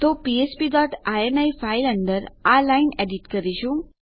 તો આપણે ફ્ફ્પ ડોટ ઇની ફાઈલ અંદર આ લાઈન એડીટ કરીશું